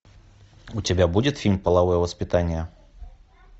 у тебя будет фильм половое воспитание